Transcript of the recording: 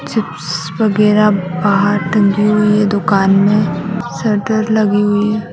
Chips वगैरा बाहर टंगी हुई है दुकान में शटर लगी हुई है।